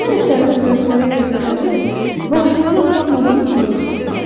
Mən əsərimi böyüklərə göstərib, vahiməli olub olmadığını soruşdum.